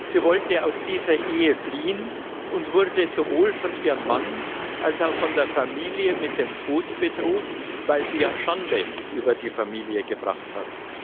Sie wollte aus dieser Ehe fliehen und wurde sowohl von ihrem Mann als auch von der Familie mit dem Tod bedroht, weil sie Schande über die Familie gebracht hat.